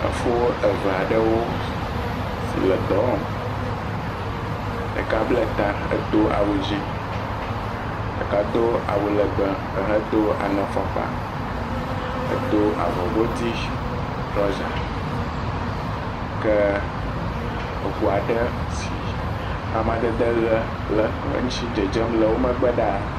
Efo aɖewo si le dɔ wɔm, deka bla ta edo awu dzɛ, ɖeka do awu legbe hedo do ŋɛ fɔkpa he do avɔ godi trɔza ke aŋu aɖe ke amadede ʋi le ŋuti le dzedzem le eƒe, megbe ɖaa.